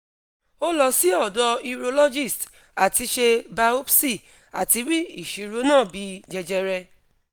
o lọ si ọ̀dọ̀ urologist lati ṣe biopsy ati ri iṣoro na bi jẹjẹrẹ